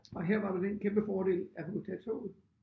Og her var der den kæmpe fordel at vi kunne tage toget